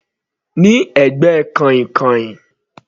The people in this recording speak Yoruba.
Ní ẹ̀gbẹ́ kàìnkàìn.